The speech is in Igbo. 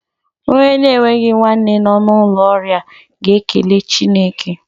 Onye na-enweghi nwanne nọ n'ụlọ ọrịa ga-ekele Chineke.